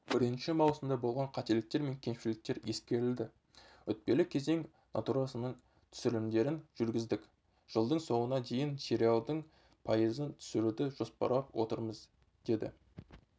бірінші маусымда болған қателіктер мен кемшіліктер ескерілді өтпелі кезең натурасының түсірілімдерін жүргіздік жылдың соңына дейін сериалдың пайызын түсіруді жоспарлап отырмыз деді